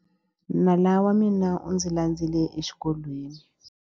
Nala wa mina u ndzi landzile exikolweni.